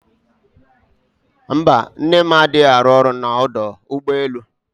Mba, nne m adịghị arụ ọrụ na ọdọ ụgbọelu